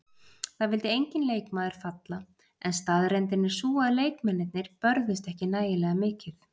Það vildi enginn leikmaður falla en staðreyndin er sú að leikmennirnir börðust ekki nægilega mikið.